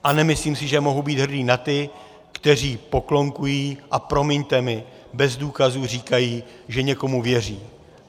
A nemyslím si, že mohu být hrdý na ty, kteří poklonkují, a promiňte mi, bez důkazů říkají, že někomu věří.